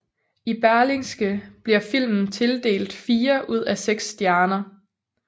I Berlingske bliver filmen tildelt fire ud af seks stjerner